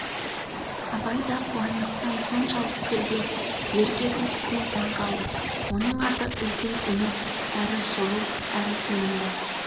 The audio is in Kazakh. абай да қуандықтың соншалық сергек ерке күлкісіне таңқалды оның аты үлкен үміт әрі сұлу әрі сенімді